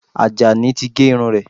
Àjàní ti gé irun rẹ̀